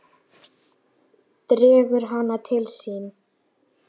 Dregur hana til sín.